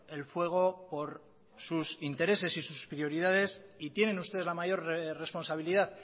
el fuego por sus intereses y sus prioridades y tienen ustedes la mayor responsabilidad